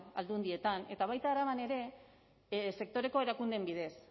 aldundietan eta baita araban ere sektoreko erakundeen bidez